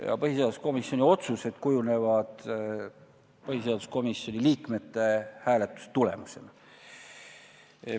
Ja põhiseaduskomisjoni otsused kujunevad põhiseaduskomisjoni liikmete hääletuse tulemusena.